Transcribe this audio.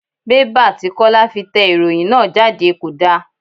Bẹ́bà tí Kọ́lá fi tẹ ìròhìn náà jáde kò da.